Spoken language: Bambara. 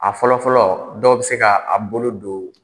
A fɔlɔ fɔlɔ dɔw bɛ se ka a bolo don